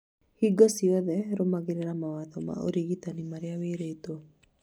hingo ciothe rũmagĩrĩra mawatho ma ũrigitani marĩa wĩrĩtwo